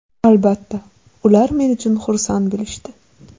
Albatta, ular men uchun xursand bo‘lishdi.